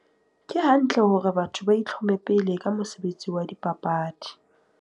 Ke hantle hore batho ba itlhome pele ka mosebetsi wa dipapadi.